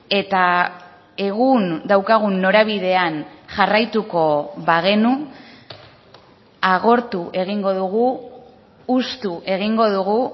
eta egun daukagun norabidean jarraituko bagenu agortu egingo dugu hustu egingo dugu